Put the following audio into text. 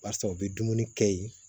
Barisa u bɛ dumuni kɛ yen